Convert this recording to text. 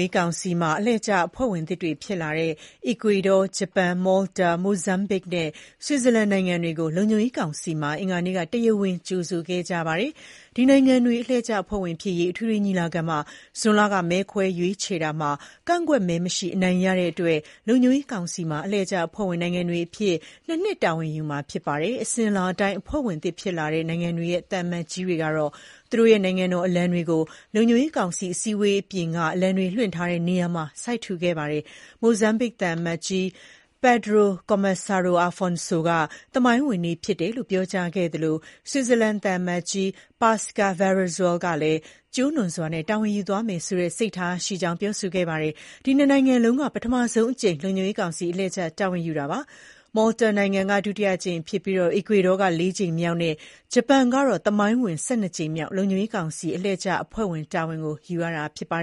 ေးကောင်စီမှာ အလှည့်ကျအဖွဲ့ဝင်သစ်တွေဖြစ်လာတဲ့ Ecuador၊ Japan၊ Malta၊ Mozambique နဲ့ Switzerland နိုင်ငံတွေကို လုံခြုံရေးကောင်စီမှာ အင်္ဂါနေ့က တရားဝင် ကြိုဆိုခဲ့ကြပါတယ်။ ဒီနိုင်ငံတွေ အလှည့်ကျအဖွဲ့ဝင်ဖြစ်ရေး အထွေထွေညီလာခံမှာ June လက မဲခွဲရွေးချယ်ရာမှာ ကန့်ကွက်မဲမရှိ အနိုင်ရခဲ့ကြတဲ့အတွက် လုံခြုံရေးကောင်စီမှာ အလှည့်ကျအဖွဲ့ဝင်နိုင်ငံတွေအဖြစ် ၂ နှစ် တာဝန်ယူကြရမှာဖြစ်ပါတယ်။ အစဉ်အလာအတိုင်း အဖွဲ့ဝင်သစ်ဖြစ်လာတဲ့နိုင်ငံတွေရဲ့သံအမတ်ကြီးတွေက သူတို့ရဲ့ နိုင်ငံတော်အလံတွေကို လုံခြုံရေးကောင်စီအစည်းအဝေးခန်းအပြင်က အလံတွေလွှင့်ထားတဲ့နေရာမှာ စိုက်ထူခဲ့ကြပါတယ်။ Mozambique သံအမတ်ကြီး Pedro Comissário Afonso က သမိုင်းဝင်နေ့ဖြစ်တယ်လို့ ပြောကြားခဲ့သလို Switzerland သံအမတ်ကြီး Pascale Baeriswyl ကလည်း ကျိုးနွံစွာနဲ့ တာဝန်ယူသွားရမယ်ဆိုတဲ့စိတ်ထားရှိတယ်လို့ ပြောကြားခဲ့ပါတယ်။ ဒီ ၂ နိုင်ငံလုံးက ပထမဆုံးအကြိမ် လုံခြုံရေးကောင်စီ အလှည့်ကျတာဝန်ကို ယူရတာဖြစ်ပါတယ်။ Malta နိုင်ငံက ဒုတိယအကြိမ်ဖြစ်ပြီး Ecuador က လေးကြိမ်မြောက်နဲ့ ဂျပန်ကတော့ သမိုင်းဝင် ၁၂ ကြိမ်မြောက် လုံခြုံရေးကောင်စီ အလှည့်ကျအဖွဲ့ဝင် တာဝန်ကိုယူရတာဖြစ်ပါ